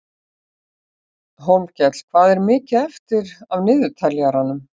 Hólmkell, hvað er mikið eftir af niðurteljaranum?